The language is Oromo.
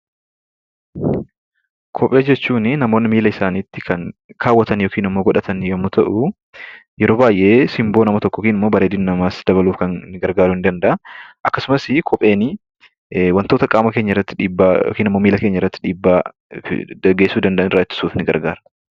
Kophee jechuunii namoonni miila isaaniitti kan kaawwatan yookin immoo godhatan yommuu ta'uu, yeroo baay'ee simboo nama tokkoo yookan immoo bareedina namaas dabaluuf kan gargaaruu nii danda'aa. Akkasumasi kopheenii wantoota qaama keenyarratti dhiibbaa yoookinimmoo miila keenyarratti dhiibbaa geessisuu danda'an irraa ittisuuf ni gargaara.